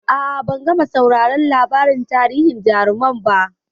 A'a, ban gama sauraron labarin tarihin jarumai ba.